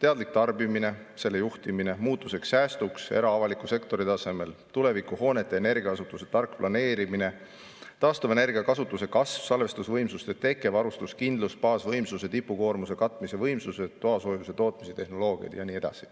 teadlik tarbimine, selle juhtimine muutusteks, säästuks era- ja avaliku sektori tasemel, tulevikuhoonete energiakasutuse tark planeerimine, taastuvenergia kasutuse kasv, salvestusvõimsuste teke, varustuskindlus, baasvõimsuse tipukoormuse katmise võimsused, toasoojuse tootmise tehnoloogiad ja nii edasi.